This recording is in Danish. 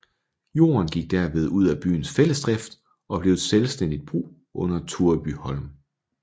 Jorden gik derved ud af byens fællesdrift og blev et selvstændigt brug under Turebyholm